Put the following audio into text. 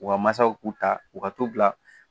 U ka masaw k'u ta u ka tobila